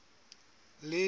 lejwe